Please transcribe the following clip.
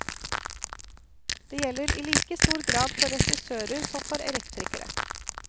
Det gjelder i like stor grad for regissører som for elektrikere.